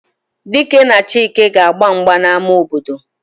Dike na Chike ga-agba mgba n'ama obodo